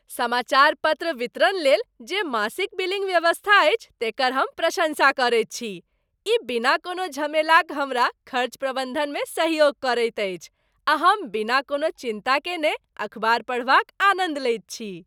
समाचार पत्र वितरण लेल जे मासिक बिलिंग व्यवस्था अछि तेकर हम प्रशंसा करैत छी। ई बिना कोनो झमेलाक हमरा खर्च प्रबन्धनमे सहयोग करैत अछि आ हम बिना कोनो चिन्ता कएने अखबार पढ़बाक आनन्द लैत छी।